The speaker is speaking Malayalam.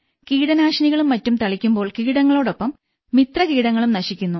കീടനാശിനികളും മറ്റും തളിക്കുമ്പോൾ കീടങ്ങളോടൊപ്പം മിത്രകീടങ്ങളും നശിക്കുന്നു